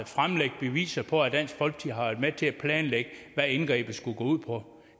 fremlægge beviser på at dansk folkeparti med til at planlægge hvad indgrebet skulle gå ud på